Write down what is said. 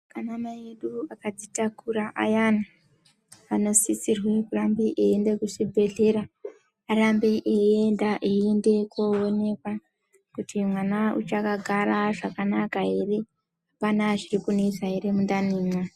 Ana mai edu akadzitakura ayani anosisirwa kurambe eyienda kuzvibhehlera arambe eyienda koonekwa kuti mwana uchakagara zvakanaka ere, apana chiri kunesa ere mundanimwo.